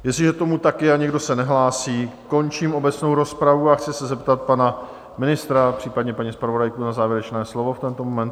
Jestliže tomu tak je a nikdo se nehlásí, končím obecnou rozpravu a chci se zeptat pana ministra, případně paní zpravodajky, na závěrečné slovo v tento moment.